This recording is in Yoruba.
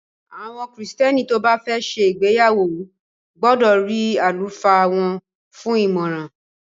Àwọn Kristẹni tó bá fẹ́ ṣe ìgbéyàwó gbọdọ̀ rí àlùfáà wọ́n fún ìmọràn.